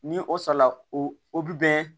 Ni o sala o bi bɛn